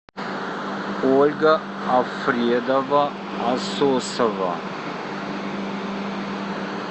ольга афредова асосова